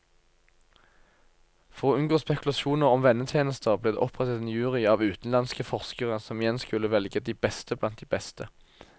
For å unngå spekulasjoner om vennetjenester, ble det opprettet en jury av utenlandske forskere som igjen skulle velge de beste blant de beste.